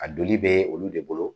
A donli be olu de bolo .